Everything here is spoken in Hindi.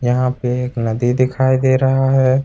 यहां पे एक नदी दिखाई दे रहा है।